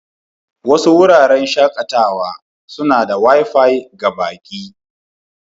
Wasu wuraren shakatawa suna da Wi-Fi ga baƙi.